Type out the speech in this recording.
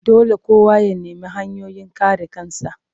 Dole kowa ya nemi hanyoyin kare kansa